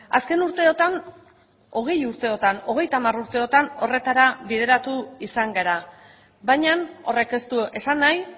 azken urteotan hogei urteotan hogeita hamar urteotan horretara bideratu izan gara baina horrek ez du esan nahi